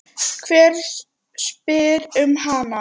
Hver spyr um hana?